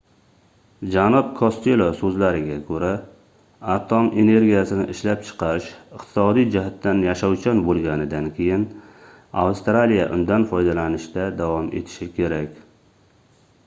janob kostelo soʻzlariga koʻra atom energiyasini ishlab chiqarish iqtisodiy jihatdan yashovchan boʻlganidan keyin avstraliya undan foydalanishda davom etishi kerak